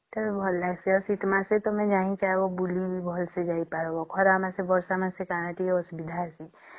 ସେଟା ବି ଭଲ ଲାଗିଁସେ ଆଉ ଶୀତ ଦିନେ ଜାଣିଛ ବୁଲିବାକୁ ବି ଭଲ୍ସେ ଯାଇ ପରିବା ଖରା ମାସେ ବର୍ଷା ମାସେ କଣ କେ ଅସୁବିଧା ରେ ଯିବା